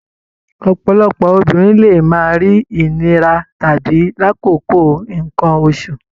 Ọ̀pọ̀lọpọ̀ obìnrin lè máa rí ìnira tàbí lákòókò nǹkan oṣù